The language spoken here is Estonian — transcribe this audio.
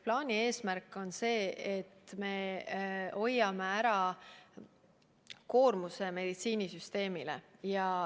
Plaani eesmärk on see, et me hoiame ära väga suure koormuse meditsiinisüsteemile.